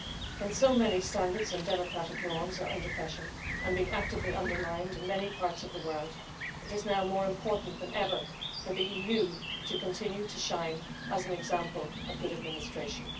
When so many standards and democratic norms are under pressure and are being actively undermined in many parts of the world, it is now more important than ever for the EU to continue to shine as an example of good administration.